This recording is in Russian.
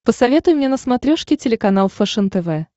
посоветуй мне на смотрешке телеканал фэшен тв